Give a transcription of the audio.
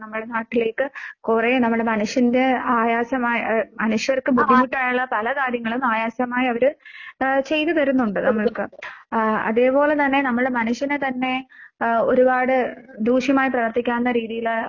നമ്മടെ നാട്ടിലേക്ക് കൊറേ നമ്മടെ മനുഷ്യന്റെ ആയാസമായ ഏ മനുഷ്യർക്ക് ബുദ്ധിമുട്ടായുള്ള പല കാര്യങ്ങളും ആയാസമായവര് ആഹ് ചെയ്ത് തരുന്നൊണ്ട് നമ്മൾക്ക്. ആഹ് അതേപോലെ തന്നെ നമ്മളെ മനുഷ്യനെ തന്നെ ആഹ് ഒരുപാട് ദൂഷ്യമായി പ്രവർത്തിക്കാവുന്ന രീതിയില്